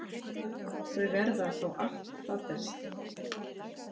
Þau verða að fá allt það besta.